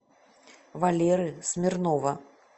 валеры смирнова